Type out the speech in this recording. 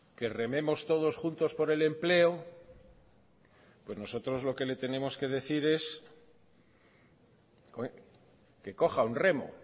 que rememos todos juntos por el empleo pues nosotros lo que le tenemos que decir es que coja un remo